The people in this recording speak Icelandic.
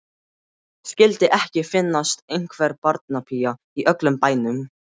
Skyldi ekki finnast einhver barnapía í öllum bænum.